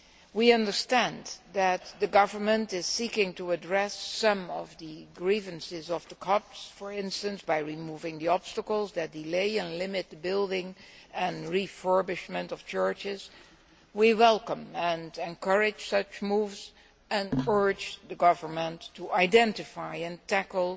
We understand that the government is seeking to address some of the grievances of the Copts, for instance, by removing the obstacles that delay and limit the building and refurbishment of churches. We welcome and encourage such moves and urge the government to identify and tackle